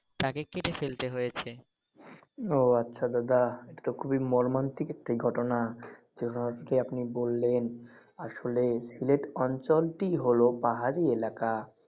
তাকে কেটে ফেলতে হয়েছে। ওহ আচ্ছা দাদা এতো খুবই মর্মান্তিক একটি ঘটনা যে অবধি আপনি বললেন। আসলে সিলেট অঞ্চলটি হলো পাহাড়ি এলাকা।